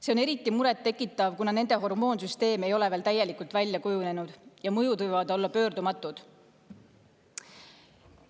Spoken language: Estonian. See on eriti muret tekitav, kuna nende hormoonsüsteem ei ole veel täielikult välja kujunenud ja mõjud võivad olla pöördumatud.